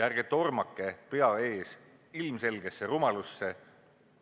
Ärge tormake, pea ees, ilmselgesse rumalusse.